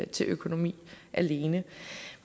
til økonomi alene